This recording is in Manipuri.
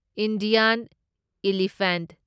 Indian elephant